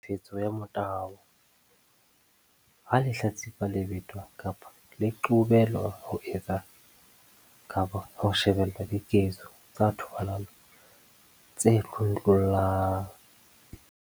Tlhekefetso ka motabo- Ha lehlatsipa le betwa kapa le qobelwa ho etsa kapa ho shebella diketso tsa thobalano tse tlontlollang.